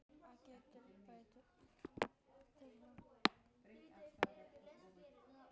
Það getur tekið frá